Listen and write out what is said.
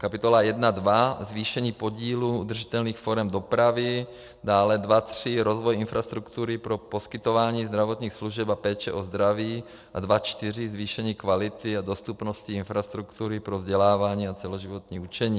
Kapitola 1.2 Zvýšení podílu udržitelných forem dopravy, dále 2.3 Rozvoj infrastruktury pro poskytování zdravotních služeb a péče o zdraví a 2.4 Zvýšení kvality a dostupnosti infrastruktury pro vzdělávání a celoživotní učení.